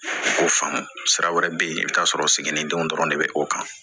Ko faamu sira wɛrɛ bɛ yen i bɛ t'a sɔrɔ siginidenw dɔrɔn de bɛ o kan